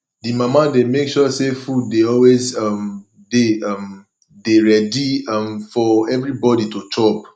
di mama dey make sure sey food dey always um dey um dey ready um for everybodi to chop